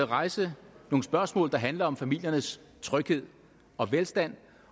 rejse nogle spørgsmål der handler om familiernes tryghed og velstand